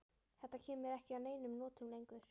Þetta kemur mér ekki að neinum notum lengur.